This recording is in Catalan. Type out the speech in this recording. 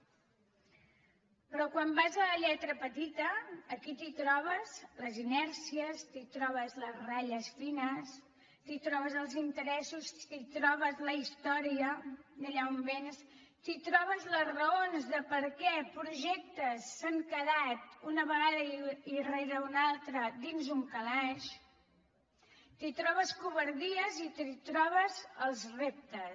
però quan vas a la lletra petita aquí t’hi trobes les inèrcies t’hi trobes les ratlles fines t’hi trobes els interessos t’hi trobes la història d’allà on véns t’hi trobes les raons de per què projectes s’han quedat una vegada rere una altra dins d’un calaix t’hi trobes covardies i t’hi trobes els reptes